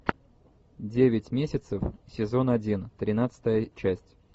девять месяцев сезон один тринадцатая часть